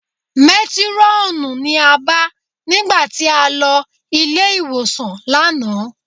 Métírọ́ọ̀nù ni a bá nígbà tí a lọ ilé-ìwòsàn lánàá